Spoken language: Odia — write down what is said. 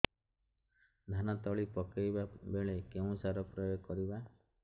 ଧାନ ତଳି ପକାଇବା ବେଳେ କେଉଁ ସାର ପ୍ରୟୋଗ କରିବା